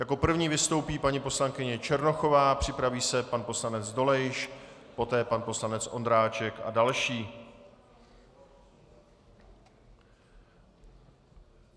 Jako první vystoupí paní poslankyně Černochová, připraví se pan poslanec Dolejš, poté pan poslanec Ondráček a další.